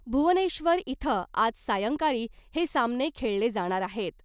भुवनेश्वर इथं आज सायंकाळी हे सामने खेळले जाणार आहेत .